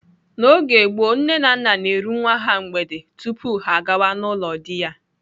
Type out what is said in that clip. N'oge gboo, nne na nna na-eru nwa ha mgbede tupu ya agawa n'ụlọ dị ya.